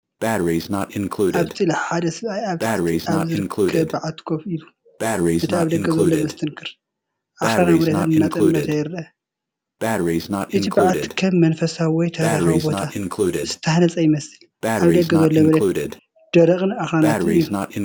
ኣብቲ ስእሊ ሓደ ሰብኣይ ኣብ ታሕቲ ኣብ ዝርከብ በዓቲ ኮፍ ኢሉ። ነቲ ኣብ ደገ ዘሎ መስተንክር ኣኽራናዊ መሬት እናጠመተ ይርአ። እቲ በዓቲ ከም መንፈሳዊ ወይ ታሪኻዊ ቦታ ዝተሃንጸ ይመስል። ኣብ ደገ ዘሎ መሬት ደረቕን ኣኽራናትን እዩ።